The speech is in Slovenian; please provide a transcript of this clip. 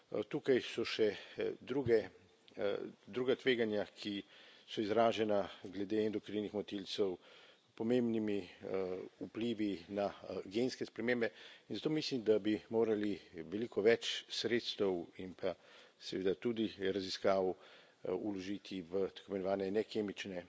Tukaj so še druga tveganja, ki so izražena glede endokrinih motilcev, pomembnimi vplivi na genske spremembe, in zato mislim, da bi morali veliko več sredstev in pa seveda tudi raziskav vložiti v tako imenovane nekemične